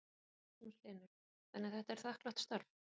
Magnús Hlynur: Þannig að þetta er þakklátt starf?